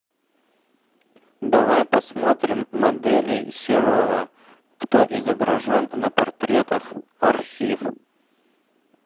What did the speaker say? давай посмотрим моделей серова кто изображен на портретах архив